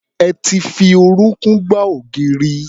Ẹ ti fi orúnkún gbá ògiri.